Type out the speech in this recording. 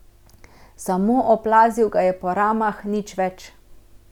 Samo oplazil ga je po ramah, nič več.